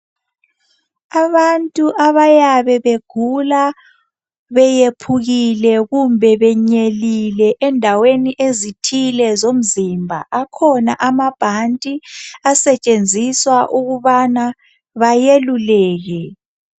Abantu abayabe begula, bephukile kumbe benyelile. Kundawo ezithile zomzumba. Akhona anabhanti asetshenziswa ukubana beluleke.